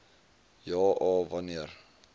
ja a wanneer